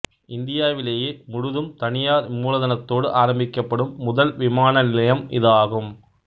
இந்தியாவிலேயே முழுதும் தனியார் மூலதனத்தோடு ஆரம்பிக்கப்படும் முதல் விமான நிலையம் இது ஆகும்